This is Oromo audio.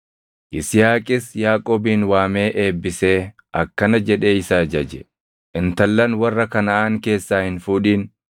Yisihaaqis Yaaqoobin waamee eebbisee akkana jedhee isa ajaje: “Intallan warra Kanaʼaan keessaa hin fuudhin.